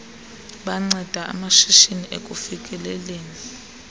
banceda amashishini ekufikeleleni